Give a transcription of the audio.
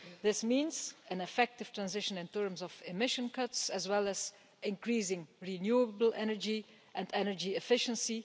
This means an effective transition in terms of emission cuts, as well as increasing renewable energy and energy efficiency.